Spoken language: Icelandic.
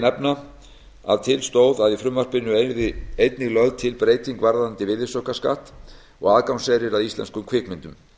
nefna að til stóð að í frumvarpinu yrði einnig lögð til breyting varðandi virðisaukaskatt og aðgangseyri að íslenskum kvikmyndum